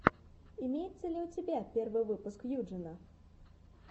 имеется ли у тебя первый выпуск юджина